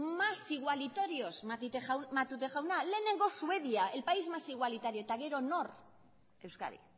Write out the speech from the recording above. más igualitarios matute jauna lehenengo suedia el país más igualitario eta gero nor euskadi